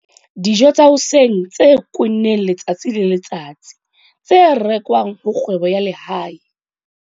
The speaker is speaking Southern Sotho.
Dijo tsa hoseng tse kwenneng letsatsi le letsatsi tse rekwang ho kgwebo ya lehae.